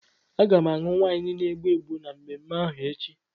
Aga m aṅụ waịnu na-egbu egbu na mmemme ahụ echi.